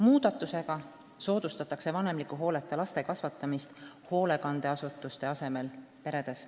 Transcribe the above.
Muudatusega soodustatakse vanemliku hooleta laste kasvatamist hoolekandeasutuste asemel peredes.